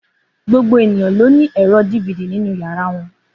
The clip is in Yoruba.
Gbogbo ènìyàn ló ní ẹ̀rọ DVD nínú yàrá wọn.